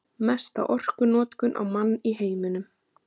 Mesta orkunotkun á mann í heiminum